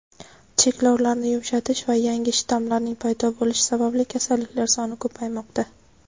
cheklovlarni yumshatish va yangi shtammlarning paydo bo‘lishi sababli kasalliklar soni ko‘paymoqda.